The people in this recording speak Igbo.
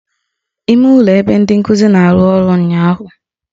Ime ụlọ ebe ndị nkuzi na-anọ ruru unyi ụnyụahụ